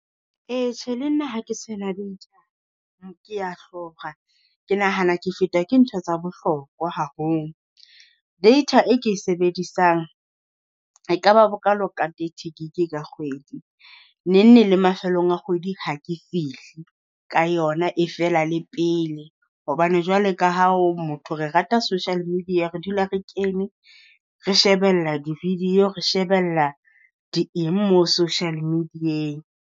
Ee, tjhe, le nna ha ke sena letho, ke a hlora, ke nahana ke feta ke ntho tsa bohlokwa haholo. Data e ke e sebedisang ekaba bokalo ka thirty gig ka kgwedi. Neng neng le mafelong a kgwedi ha ke fihle ka yona, e fela le pele hobane jwale ka ha o motho re rata social media, re dula re kene, re shebella di-video, re shebella di eng mo social media.